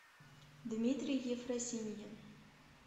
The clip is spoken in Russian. дмитрий ефросиньин